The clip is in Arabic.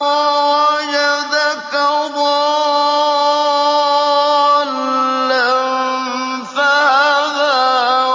وَوَجَدَكَ ضَالًّا فَهَدَىٰ